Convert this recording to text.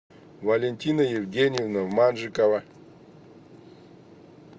валентина евгеньевна манжикова